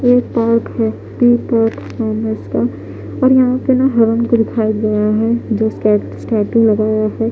ये एक पार्क है। टू पार्क नाम है इसका और यहां पे ना हिरन को दिखाया गया है जो स्टेच्यू का है।